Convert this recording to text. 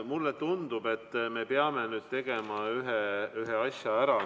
Mulle tundub, et me peame tegema ühe asja ära.